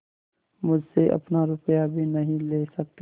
मुझसे अपना रुपया भी नहीं ले सकती